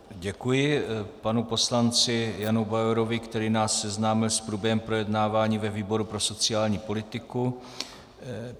Děkuji panu poslanci Janu Bauerovi, který nás seznámil s průběhem projednávání ve výboru pro sociální politiku.